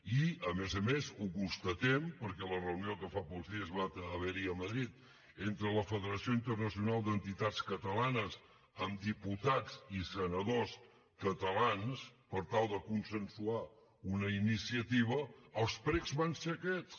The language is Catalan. i a més a més ho constatem perquè a la reunió que fa pocs dies va haver hi a madrid entre la federació internacional d’entitats catalanes amb diputats i senadors catalans per tal de consensuar una iniciativa els precs van ser aquests